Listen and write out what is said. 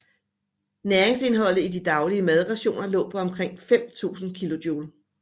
Næringsindholdet i de daglige madrationer lå på omkring 5000 kilojule